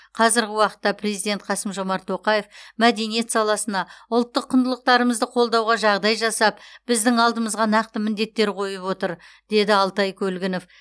қазіргі уақытта президент қасым жомарт тоқаев мәдениет саласына ұлттық құндылықтарымызды қолдауға жағдай жасап біздің алдымызға нақты міндеттер қойып отыр деді алтай көлгінов